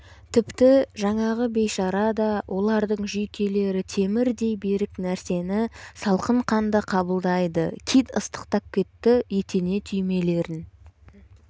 тіпті жаңағы бейшара да олардың жүйкелері темірдй берік нәрсені салқынқанды қабылдайды кит ыстықтап кетті етене түймелерін